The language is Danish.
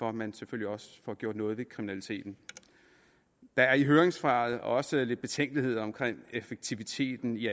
at man selvfølgelig også får gjort noget ved kriminaliteten der er i høringssvaret også lidt betænkeligheder omkring effektiviteten i